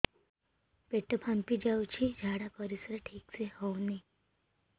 ପେଟ ଫାମ୍ପି ଯାଉଛି ଝାଡ଼ା ପରିସ୍ରା ଠିକ ସେ ହଉନି